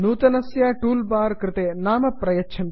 नूतनस्य toolbar कृते नाम प्रयच्छन्तु